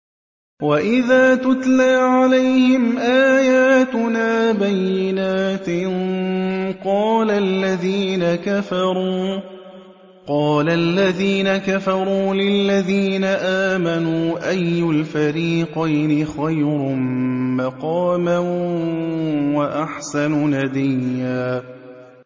وَإِذَا تُتْلَىٰ عَلَيْهِمْ آيَاتُنَا بَيِّنَاتٍ قَالَ الَّذِينَ كَفَرُوا لِلَّذِينَ آمَنُوا أَيُّ الْفَرِيقَيْنِ خَيْرٌ مَّقَامًا وَأَحْسَنُ نَدِيًّا